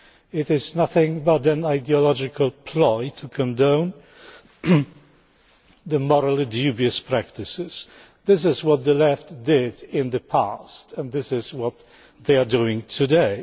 It is nothing but an ideological ploy to condone morally dubious practices. This is what the Left did in the past, and this is what they are doing today.